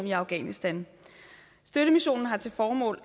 i afghanistan støttemissionen har til formål